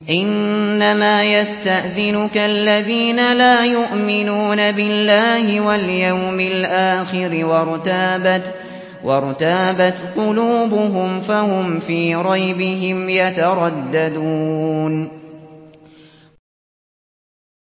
إِنَّمَا يَسْتَأْذِنُكَ الَّذِينَ لَا يُؤْمِنُونَ بِاللَّهِ وَالْيَوْمِ الْآخِرِ وَارْتَابَتْ قُلُوبُهُمْ فَهُمْ فِي رَيْبِهِمْ يَتَرَدَّدُونَ